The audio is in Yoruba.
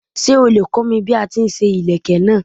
Ṣé o lè kọ́ mi bí a ti ń ṣe ìlékè náà.